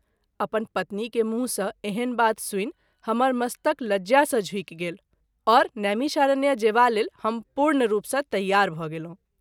अपन पत्नी के मुँह सँ एहन बात सुनि हमर मस्तक लज्या सँ झुकि गेल और नैमिषारण्य जेबा लेल हम पूर्ण रूप सँ तैयार भ’ गेलहुँ।